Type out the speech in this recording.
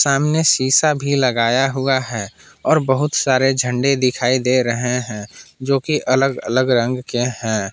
सामने सीसा भी लगाया हुआ है और बहुत सारे झंडे दिखाई दे रहे हैं जो कि अलग अलग रंग के हैं।